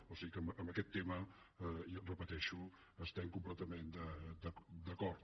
o sigui que en aquest tema ho repeteixo estem completament d’acord